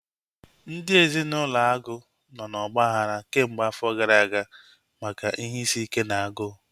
Ndị ezinaụlọ Agu nọ na ọgbaghara kemgbe afọ gara aga maka ihe isi ike na agụụ